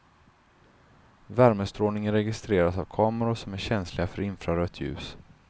Värmestrålningen registreras av kameror som är känsliga för infrarött ljus.